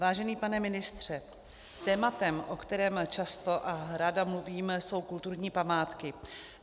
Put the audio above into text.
Vážený pane ministře, tématem, o kterém často a ráda mluvím, jsou kulturní památky.